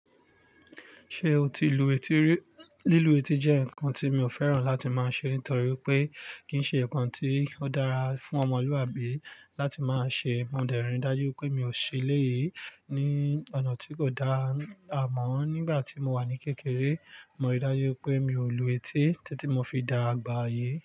Ṣé o ti lu etí rí? Lílu etí jẹ́ nǹkan tí mi ò fẹ́ràn láti máa ṣe nítorí wipé kì í ṣe nǹkan tí ó dára fún ọmọlúwàbí láti máa ṣe. Mo dẹ̀ rí i dájú wipé mi ò ṣe eleyìí ní ọ̀nà tí kò dá àmọ́. Nígbà tí mo wà ní kékeré, mo rí i dájú wipé mi ò lu etí títí mo fi dàgbà yi.